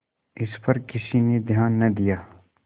इस पर किसी ने ध्यान न दिया